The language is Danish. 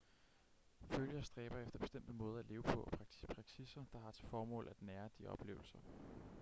følgere stræber efter bestemte måder at leve på og praksisser der har til formål at nære de oplevelser